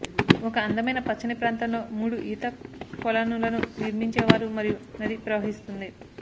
ఒక అందమైన పచ్చని ప్రాంతంలో మూడు ఈత కొలనులను నిర్మించేవారు మరియు నది ప్రవహిస్తుంది